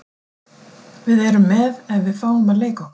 Við erum með ef við fáum að leika okkur.